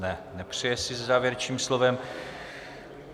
Ne, nepřeje si se závěrečným slovem.